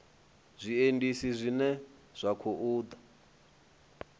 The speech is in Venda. zwiendisi zwine zwa khou ḓa